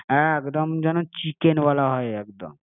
একদম যেন চিকেনবালা হয় একদম